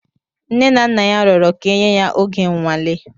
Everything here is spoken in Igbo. Nne na nna ya rụọrọ ka enye ya oge nnwale.